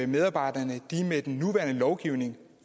medarbejderne med den nuværende lovgivning